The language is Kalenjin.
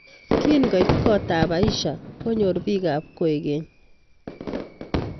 Kingoit kotab Aisha konyor bikap kwekeny